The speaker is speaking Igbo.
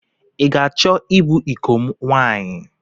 I ga-achọ ịbụ ịko m nwaanyị?